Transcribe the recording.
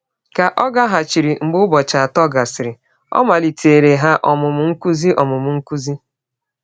Ka ọ gaghachiri mgbe ụbọchị atọ gasịrị, ọ maliteere ha ọmụmụ nkụzi. ọmụmụ nkụzi.